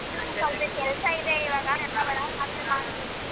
ಹ್ಮ ನಂಗ್ ಸೊಲ್ಪ ಕೆಲ್ಸ ಇದೆ ಇವಾಗ ಆಮೆಲ್ ಮಾಡ್ತೀನಿ.